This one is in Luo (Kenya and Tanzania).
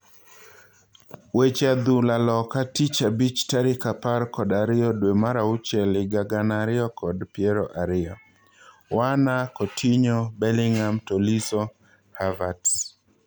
Weche adhula loka tich abich tarik apar kod ariyo dwee mar auchiel higa gana ariyo kod piero ariyo:Werner, Coutinho, Bellingham, Tolisso, Havertz